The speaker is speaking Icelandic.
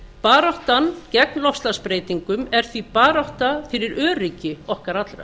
baráttan gegn loftslagsbreytingum er því barátta fyrir öryggi okkar allra